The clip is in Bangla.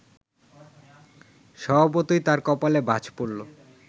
স্বভাবতই তাঁর কপালে ভাঁজ পড়ল